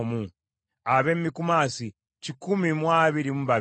ab’e Mikumasi kikumi mu abiri mu babiri (122),